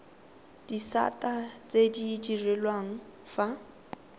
disata tse di direlwang fa